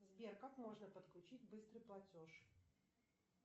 сбер как можно подключить быстрый платеж